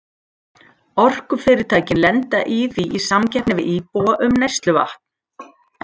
Orkufyrirtækin lenda því í samkeppni við íbúa um neysluvatn.